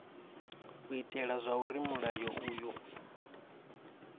u itela zwauri mulayo uyu